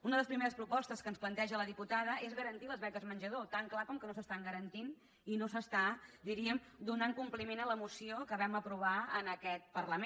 una de les primeres propostes que ens planteja la diputada és garantir les beques menjador tan clar com que no s’estan garantint i no s’està diríem donant compliment a la moció que vam aprovar en aquest parlament